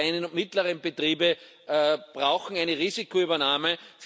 Gerade die kleinen und mittleren Betriebe brauchen eine Risikoübernahme.